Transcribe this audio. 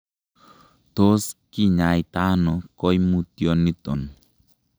Tot kinyaita ono koimutioniton?